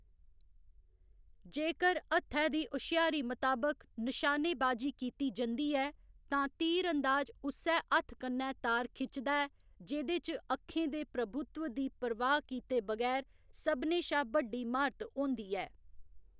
जेकर हत्थै दी हुश्यारी मताबक निशानेबाजी कीती जंदी ऐ, तां तीर अंदाज उस्सै हत्थ कन्नै तार खिचदा ऐ जेह्‌‌‌दे च अक्खें दे प्रभुत्व दी परवाह्‌‌ कीते बगैर सभनें शा बड्डी म्हारत होंदी ऐ।